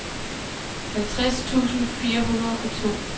halvtreds tusind fire hundrede og to